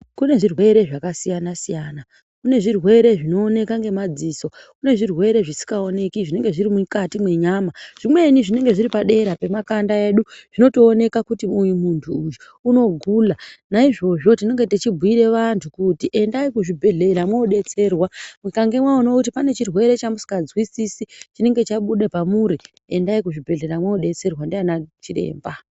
Kune zvirwere zvakasiyana siyana. Kune zvirwere zvinooneka ngemadziso. Kune zvirwere zvisikaoneki zvinenge zviri mukati mwenyama. Zvimweni zvinenge zviri padera pemakanda edu. Zvinotooneka kuti uyu muntu uyu unogula. Naizvozvo tinenge tichibhiira vantu kuti endai kuzvibhendlera mwodetserwa. Mukange mwaona kuti pane chirwere chamusinganzwisisi chinenge chabuda pamuri endai kuzvibhedhleya mwodetserwa ndiana Chiremba.